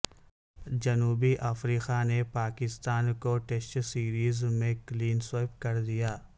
جنوبی افریقہ نے پاکستان کو ٹیسٹ سیریز میں کلین سویپ کر دیا